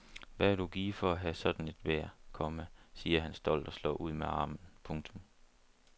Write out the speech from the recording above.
Hvad vil du give for at have sådan et vejr, komma siger han stolt og slår ud med armen. punktum